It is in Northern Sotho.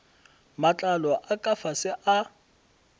matlalo a ka fase a